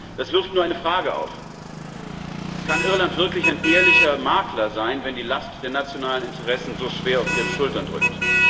Es wirft nur eine Frage auf Kann Irland wirklich ein ehrlicher Makler sein, wenn die Last der nationalen Interessen so schwer auf Ihren Schultern drückt?